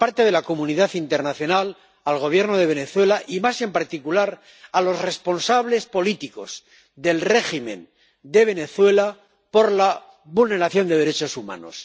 la comunidad internacional al Gobierno de Venezuela y, más en particular, a los responsables políticos del régimen de Venezuela por la vulneración de derechos humanos.